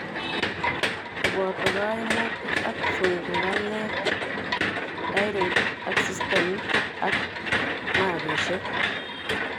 Koboto kaimutik ab sungukanet, thyroid ak systemit ab nervisiek